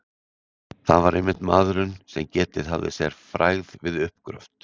Það var einmitt maðurinn, sem getið hafði sér frægð við uppgröft